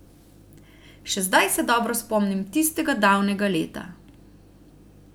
Še zdaj se dobro spomnim tistega davnega leta.